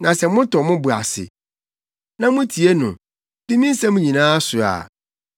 Na sɛ motɔ mo bo ase, na mutie no, di me nsɛm nyinaa so a, mɛyɛ ɔtamfo atia mo atamfo.